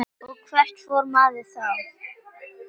Og hvert fór maður þá?